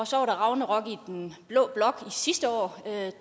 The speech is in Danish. så var der ragnarok i den blå blok sidste år da